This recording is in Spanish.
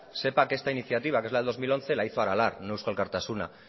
sepa que esta iniciativa que es la del dos mil once la hizo aralar no eusko alkartasuna